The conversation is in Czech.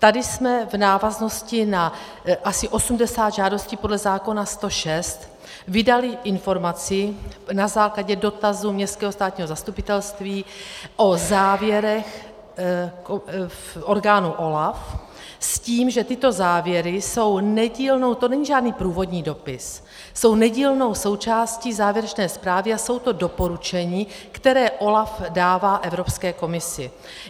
Tady jsme v návaznosti na asi 80 žádostí podle zákona 106 vydali informaci na základě dotazu městského státního zastupitelství o závěrech orgánů OLAFu s tím, že tyto závěry jsou nedílnou - to není žádný průvodní dopis - jsou nedílnou součástí závěrečné zprávy a jsou to doporučení, která OLAF dává Evropské komisi.